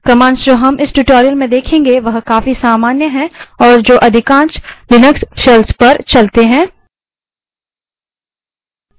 commands जो हम इस tutorial में देखेंगे वह काफी सामान्य हैं और जो अधिकांश लिनक्स shells पर चलती हैं